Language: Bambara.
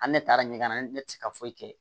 An ne taara ɲɛgɛn na ne tɛ se ka foyi kɛ